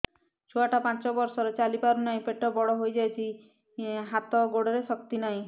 ଛୁଆଟା ପାଞ୍ଚ ବର୍ଷର ଚାଲି ପାରୁ ନାହି ପେଟ ବଡ଼ ହୋଇ ଯାଇଛି ହାତ ଗୋଡ଼ରେ ଶକ୍ତି ନାହିଁ